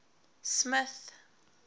smith